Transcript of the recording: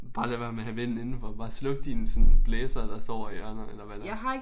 Bare lad være med at have vind indenfor. Bare sluk din sådan blæser der står ovre i hjørnet eller hvad det er